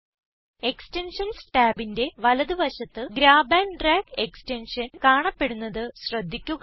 extensions ടാബിന്റെ വലത് വശത്ത് ഗ്രാബ് ആൻഡ് ഡ്രാഗ് എക്സ്റ്റൻഷൻ കാണപ്പെടുന്നത് ശ്രദ്ധിക്കുക